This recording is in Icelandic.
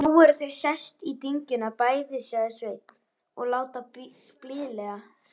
Nú eru þau sest í dyngjuna, bæði, sagði Sveinn, og láta blíðlega.